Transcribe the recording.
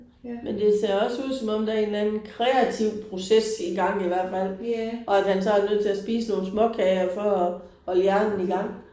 Men det ser også ud som om der er en eller anden kreativ proces i gang i hvert fald og at han så er nødt til at spise nogle småkager for at holde hjernen i gang